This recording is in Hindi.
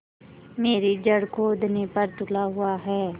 मेरी जड़ खोदने पर तुला हुआ है